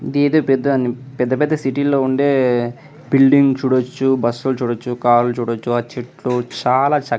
ఇదేదో పెద్ద పెద్ద సిటీ లో ఉండే బిల్డింగ్ చూడొచ్చు బస్సు చూడొచ్చు కార్ చూడొచ్చు చెట్లు చాల --